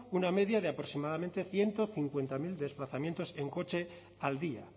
una media de aproximadamente ciento cincuenta mil desplazamientos en coche al día